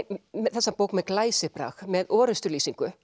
þessa bók með glæsibrag með